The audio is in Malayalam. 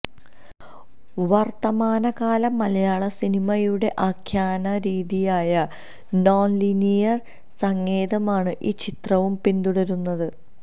വര്ത്തമാനകാല മലയാള സിനിമയുടെ ആഖ്യാനരീതിയായ നോണ്ലീനിയര് സങ്കേതമാണ് ഈ ചിത്രവും പിന്തുടരുന്നത്